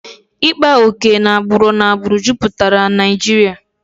Ịkpa oke na agbụrụ n'agbụrụ jupụtara Naijiria